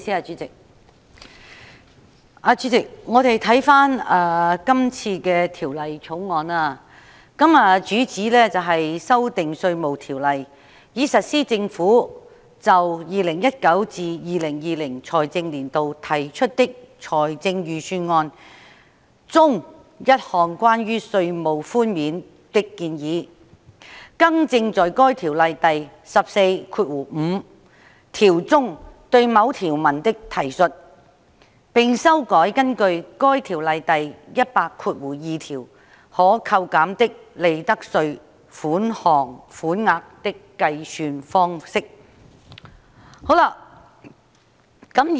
主席，這項《2019年稅務條例草案》的主旨是修訂《稅務條例》，以實施政府就 2019-2020 財政年度提出的財政預算案中一項關於稅務寬免的建議，更正在該條例第145條中對某條文的提述，並修改根據該條例第1002條可扣減的利得稅款額的計算方式。